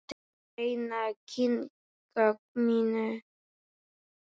Ég reyni að kyngja mínu.